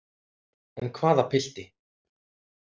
En hvaða pilti?